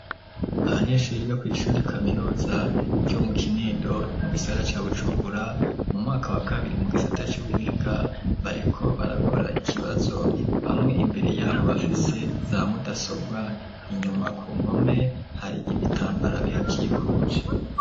Abanyeshure biga kw'ishure kaminuza ryo mu kinindo mu gisagara ca bujumbura mu mwaka wa kabiri mu gisata c'ubuhinga bariko barakora ikibazo bamwe imbere yabo bafise zamudasobwa inyuma ku nkome hari ibitambara bihakikuje.